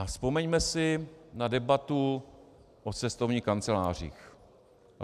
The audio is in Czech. A vzpomeňme si na debatu o cestovních kancelářích.